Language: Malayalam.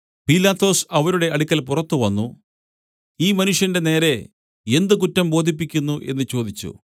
പീലാത്തോസ് അവരുടെ അടുക്കൽ പുറത്തു വന്നു ഈ മനുഷ്യന്റെ നേരെ എന്ത് കുറ്റം ബോധിപ്പിക്കുന്നു എന്നു ചോദിച്ചു